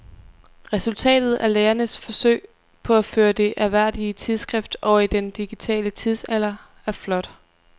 Resultatet af lægernes forsøg på at føre det ærværdige tidsskrift over i den digitale tidsalder er flot.